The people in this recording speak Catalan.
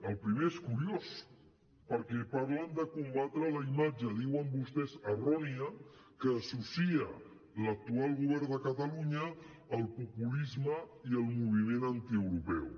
el primer és curiós perquè parlen de combatre la imatge diuen vostès errònia que associa l’actual govern de catalunya al populisme i al moviment antieuropeu